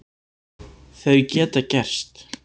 Þau geta gerst.